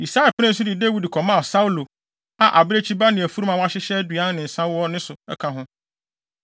Yisai penee so de Dawid kɔmaa Saulo a abirekyi ba ne afurum a wɔahyehyɛ aduan ne nsa wɔ ne so ka ho.